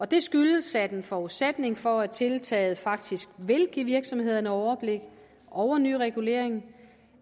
det skyldes at en forudsætning for at tiltaget faktisk vil give virksomhederne overblik over ny regulering